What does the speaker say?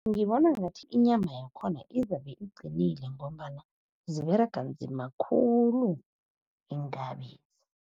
Ngibona ngathi inyama yakhona izabe iqinile ngombana ziberega nzima khulu iinkabi.